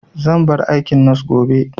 Zan bar aikin nos gobe